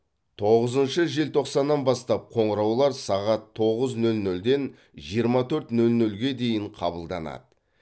тоғызыншы желтоқсаннан бастап қоңыраулар сағат тоғыз нөл нөлден жиырма төрт нөл нөлге дейін қабылданады